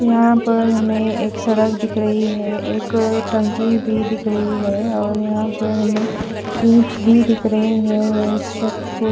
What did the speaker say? यहां पर हमें एक सड़क दिख रही है एक टंकी भी दिख रही है और यहां पर हमें दिख रहे है --